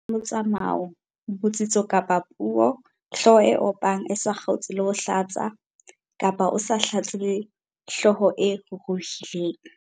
N- Matshwao a boko le methapokutlo, phetoho ya motsamao, botsitso kapa puo, hlooho e opang e sa kgaotse le ho hlatsa, kapa o sa hlatse le hlooho e ruruhileng.